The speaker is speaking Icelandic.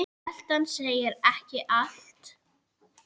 Veltan segir ekki allt.